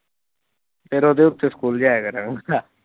ਫਿਰ ਉਹਦੇ ਉੱਤੇ ਸਕੂਲ ਜਾਇਆ ਕਰਾਂਗਾ।